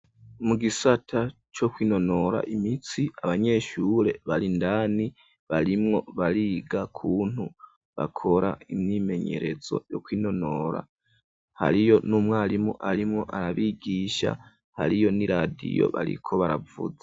mu gisata co kwinonora imitsi abanyeshure bari indani barimwo bariga ukuntu bakora imyimenyerezo yo kwinonora hariyo n'umwarimu arimwo arabigisha hariyo n'iradiyo bariko baravuza